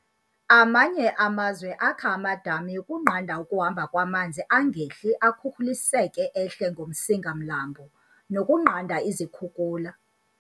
Amanye amazwe akha amadami ukunqanda ukuhamba kwamanzi angehli akhukhuliseke ehle ngomsinga mlambo, nokunqanda izikhukhula.